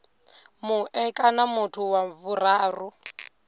mue kana muthu wa vhuraru